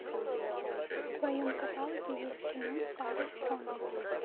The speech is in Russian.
в твоем каталоге есть кино с тарой стронг